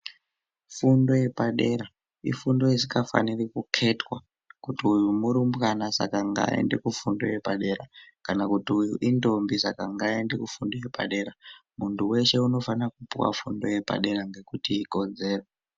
Fundo yepadera, ifundo isikafaniri kukhethwa kuti uyu murumbwana saka ngayende kufundo yepadera kana kuti uyu intombi saka ngayende kufundo yepadera. Muntu weshe unofanira kupuwa fundo yepadera ngokutikodzero.